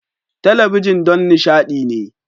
Talabijin don nishaɗi ne.